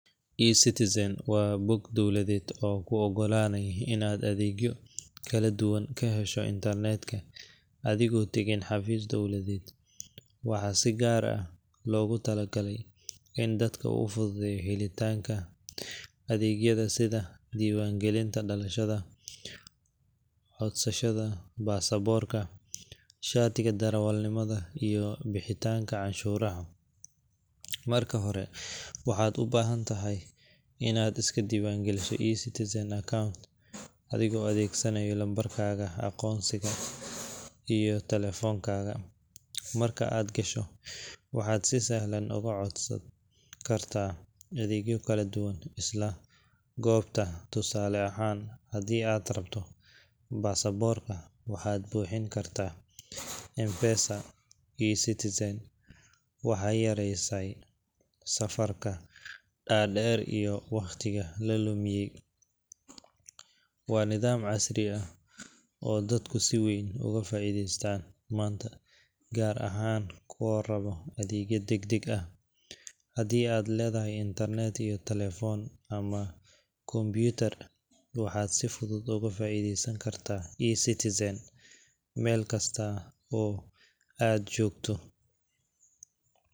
eCitizen waa bog dowladeed oo kuu oggolaanaya inaad adeegyo kala duwan ka hesho internetka adigoon tegin xafiis dowladeed. Waxaa si gaar ah loogu talagalay in dadka u fududeeyo helitaanka adeegyada sida diiwaangelinta dhalashada, codsashada baasaboorka, shatiga darawalnimada, iyo bixinta canshuuraha. Marka hore, waxaad u baahan tahay inaad iska diiwaangeliso eCitizen account adiga oo adeegsanaya lambarkaaga aqoonsiga iyo taleefankaaga. Marka aad gasho, waxaad si sahlan uga codsan kartaa adeegyo kala duwan isla goobta. Tusaale ahaan, haddii aad rabto baasaboorka, waxaad buuxin kartaa foomka online ah, waxaadna bixin kartaa lacagta adeegga adiga oo adeegsanaya mobile money sida M-Pesa. eCitizen waxay yareysay safafka dhaadheer iyo wakhtiga la lumiyo. Waa nidaam casri ah oo dadku si weyn uga faa'iidaystaan maanta, gaar ahaan kuwa raba adeegyo degdeg ah. Haddii aad leedahay internet iyo taleefan ama kombuyuutar, waxaad si fudud uga faa’iidaysan kartaa eCitizen meel kasta oo aad joogto.